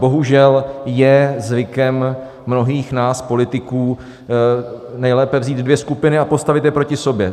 Bohužel je zvykem mnohých nás politiků nejlépe vzít dvě skupiny a postavit je proti sobě.